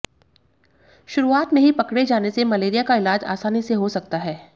शुरुआत में ही पकडे जाने से मलेरिया का इलाज आसानी से हो सकता है